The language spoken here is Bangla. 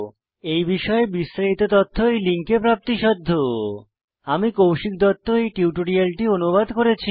এই বিষয়ে বিস্তারিত তথ্য এই লিঙ্কে প্রাপ্তিসাধ্য httpspoken tutorialorgNMEICT Intro আমি কৌশিক দত্ত এই টিউটোরিয়ালটি অনুবাদ করেছি